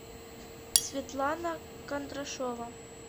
светлана кондрашова